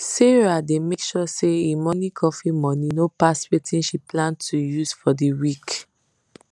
sarah dey make sure say e morning coffee money no pass wetin she plan to use for de week